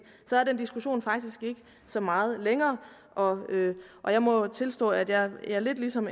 så er den diskussion faktisk ikke så meget længere og og jeg må tilstå at jeg lidt ligesom